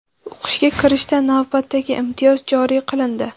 O‘qishga kirishda navbatdagi imtiyoz joriy qilindi.